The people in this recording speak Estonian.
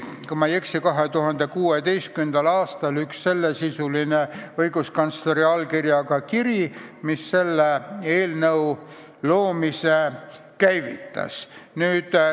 Kui ma ei eksi, siis 2016. aastal laekus üks sellesisuline õiguskantsleri allkirjaga kiri, mis selle eelnõu loomise käivitas.